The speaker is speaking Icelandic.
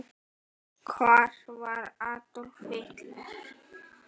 Hvar var Adolf?